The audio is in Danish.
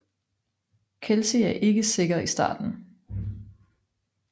Kelsi er ikke sikker i starten